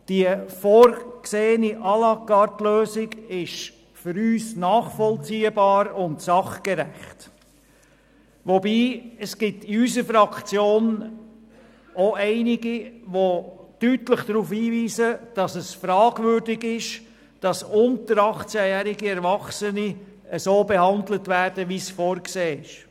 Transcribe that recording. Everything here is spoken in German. Die vorgesehene «À-la-carte-Lösung» ist für uns nachvollziehbar und sachgerecht, wobei es in unserer Fraktion auch einige gibt, die deutlich darauf hinweisen, dass es fragwürdig ist, unter 18-Jährige zu behandeln, wie es vorgesehen ist.